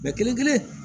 kelen kelen